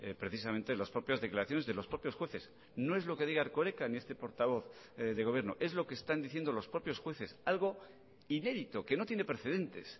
precisamente las propias declaraciones de los propios jueces no es lo que diga erkoreka ni este portavoz de gobierno es lo que están diciendo los propios jueces algo inédito que no tiene precedentes